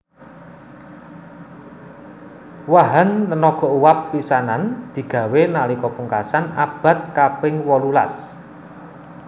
Wahan tenaga uwab pisanan digawé nalika pungkasan abad kaping wolulas